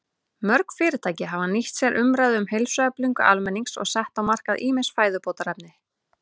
Mörg fyrirtæki hafa nýtt sér umræðu um heilsueflingu almennings og sett á markað ýmis fæðubótarefni.